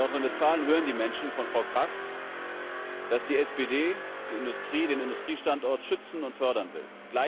In Nordrhein Westfalen hören die Menschen von Frau Kraft, dass die SPD die Industrie, den Industriestandort schützen und fördern will.